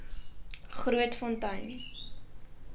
grootfontein